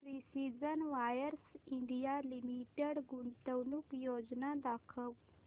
precision wires India limited गुंतवणूक योजना दाखव